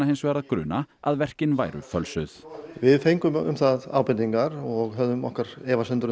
hins vegar að gruna að verkin væru fölsuð við fengum um það ábendingar og höfðum okkar efasemdir